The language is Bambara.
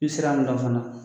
I bɛ sira min dɔn fana